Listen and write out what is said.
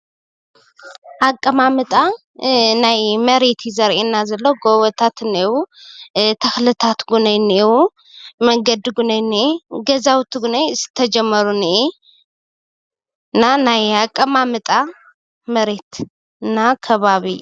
አቀማምጣ ናይ መሬት እዩ ዘሪኢና ዘሎ ጎቦታት እኒእው ፣ተክልታተ እውኒ እኒህው ፣ መንገዲ እውን እኒሄ፣ ገዛውቲ ዝተጀመሩ እኒሄ እና ናይ አቀማመጣ መሬት እና ከባቢ ።